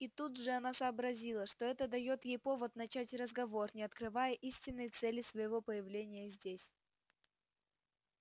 и тут же она сообразила что это даёт ей повод начать разговор не открывая истинной цели своего появления здесь